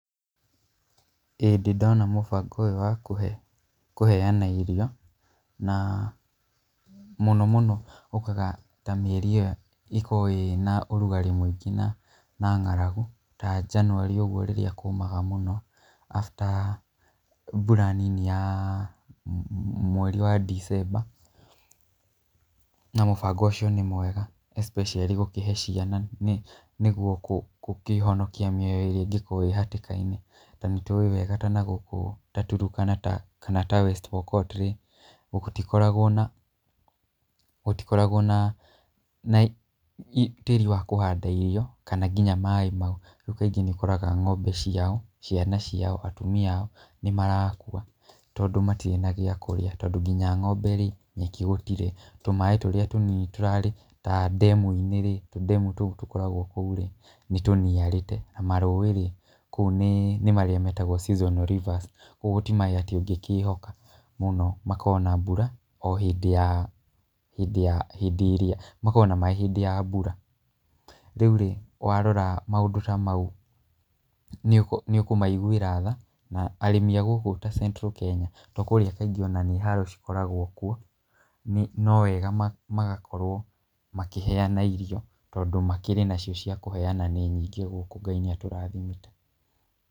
ĩĩ ndĩ ndona mũbango ũyũ wa kũheana irio na mũno mũno ũkaga ta mĩeri ĩyo ĩkoragwo ĩna ũrugarĩ mũingĩ na ng'aragu ta January ũguo rĩrĩa kũũmaga mũno after mbura nini ya mweri wa December. Na mũbango ũcio nĩ mwega especially gũkĩhe ciana nĩguo gũkĩhonokia mĩoyo ĩrĩa ĩngĩkorwo ĩĩ hatĩka-inĩ. Ta nĩtũĩ wega ta na gũkũ ta Turkana kana ta West Pokot gũtikoragwo na tĩĩri wa kũhanda irio kana nginya maaĩ. Rĩu kaingĩ nĩ ũkoraga ng'ombe ciao, ciana ciao, atumia ao nĩ marakua tondũ matirĩ na gĩa kũrĩa, tondũ nginya ng'ombe rĩ nĩ ĩkĩhũtire. Tũmaaĩ tũrĩa tũnini tũrarĩ ta ndemu-inĩ ri tũ ndemu tũu tũkoragwo kũu rĩ nĩ tũniarĩte. Marũũĩ rĩ kũu nĩ marĩa metagwo seasonal rivers koguo ti maaĩ ũngĩkĩhoka mũno. Makoragwo na mbura o hĩndĩ ĩrĩa makoragwo na maaĩ hĩndĩ ya mbura. Rĩu rĩ warora maũndũ ta mau nĩ ũkũmaigwĩra tha. Na arĩmi a gũkũ ta Central Kenya tondũ kũu kaingĩ no haro cikoragwo kuo, no wega magakorwo makĩheana irio tondũ makĩrĩ nacio cia kũheana nĩ nyingĩ gũkũ. Ngai nĩ atũrathimĩte.